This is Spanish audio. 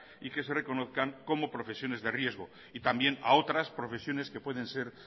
y que se reconozcan como profesiones de riesgo y también a otras profesiones que pueden ser